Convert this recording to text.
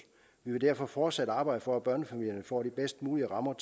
vil derfor fortsætte arbejdet for at børnefamilierne får de bedst mulige rammer